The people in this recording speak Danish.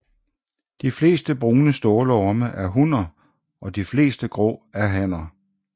De fleste brune stålorme er hunner og de fleste grå er hanner